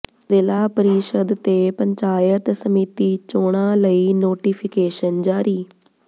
ਜ਼ਿਲ੍ਹਾ ਪ੍ਰੀਸ਼ਦ ਤੇ ਪੰਚਾਇਤ ਸਮਿਤੀ ਚੋਣਾਂ ਲਈ ਨੋਟੀਫ਼ਿਕੇਸ਼ਨ ਜਾਰੀ